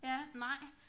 Ja nej